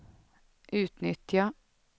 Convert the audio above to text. utnyttja